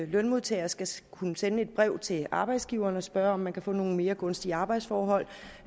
lønmodtager skal skal kunne sende et brev til arbejdsgiveren og spørge om man kan få nogle mere gunstige arbejdsforhold